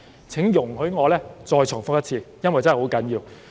請容許我再重複一次，因為真的十分重要。